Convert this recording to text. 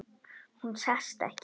Hún sest ekki.